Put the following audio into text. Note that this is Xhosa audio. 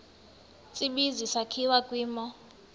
tsibizi sakhiwa kwimo